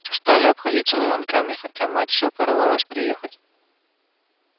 стали обходиться звонками хотя мать все порывалась приехать